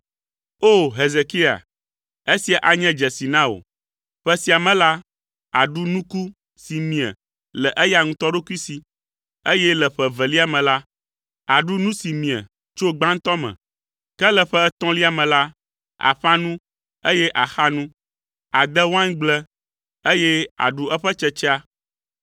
“O! Hezekia, esia anye dzesi na wò: “Ƒe sia me la, àɖu nuku si mie le eya ŋutɔ ɖokui si, eye le ƒe evelia me la, àɖu nu si mie tso gbãtɔ me. Ke le ƒe etɔ̃lia me la, àƒã nu, eye àxa nu. Àde waingble eye àɖu eƒe tsetsea